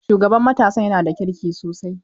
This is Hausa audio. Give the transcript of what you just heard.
Shugaban matasan yana da kirki sosai.